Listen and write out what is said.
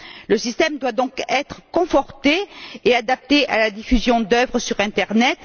Le système doit donc être conforté et adapté à la diffusion d'œuvres sur l'internet.